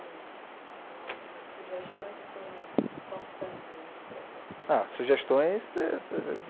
Alguns ou algumas sugestões que foram importantes aí nesse processo? Ah, sugestões